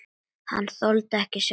Hann þoldi ekki sjálfan sig.